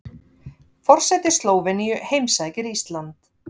Forseti Slóveníu heimsækir Ísland